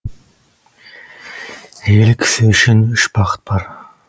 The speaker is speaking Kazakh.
әйел кісі үшін үш бақыт бар